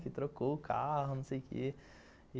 Que trocou o carro, não sei o quê.